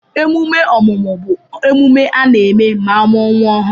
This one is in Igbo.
Emume ọmụmụ bụ emume a na-eme ma amuo nwa ọhụru